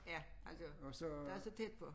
Ja altså der så tæt på